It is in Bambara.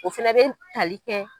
O fana bɛ tali kɛ